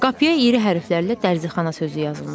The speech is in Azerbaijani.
Qapıya iri hərflərlə dərzixana sözü yazılmışdı.